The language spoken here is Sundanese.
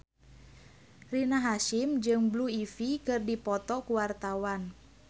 Rina Hasyim jeung Blue Ivy keur dipoto ku wartawan